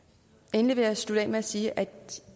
endelig vil jeg slutte af med at sige at